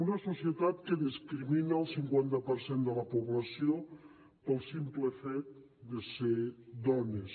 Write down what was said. una societat que discrimina el cinquanta per cent de la població pel simple fet de ser dones